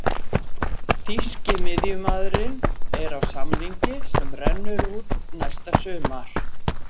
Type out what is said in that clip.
Þýski miðjumaðurinn er á samning sem rennur út næsta sumar.